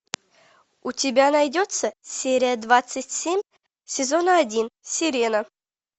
у тебя найдется серия двадцать семь сезона один сирена